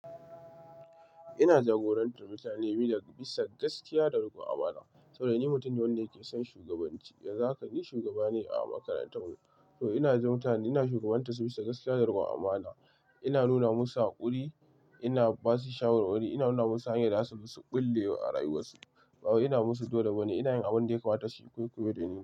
Ina jagorantar mutane bisa gaskiya da riƙon amana. Saboda ni mutum ne wanda ke son shugabanci. Yanzu haka ni shugaba ne a makarantar mu. To ina ji mutane ina shugabantar su bisa gaskiya da riƙon amana. Ina nuna musu haƙuri, ina ba su shawarwari, ina nuna musu hanyar da za su ɓulle a rayuwarsu. Ba ina musu dole da ba ne, ina yin abin da ya kawata shi koyaushe.